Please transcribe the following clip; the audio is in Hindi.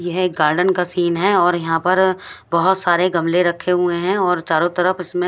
ये एक गार्डन का सीन है और यहाँ पर बोहोत सारे गमले रखे हुए है और चारो तरफ इसमे--